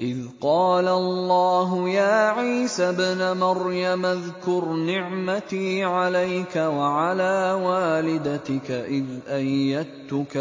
إِذْ قَالَ اللَّهُ يَا عِيسَى ابْنَ مَرْيَمَ اذْكُرْ نِعْمَتِي عَلَيْكَ وَعَلَىٰ وَالِدَتِكَ إِذْ أَيَّدتُّكَ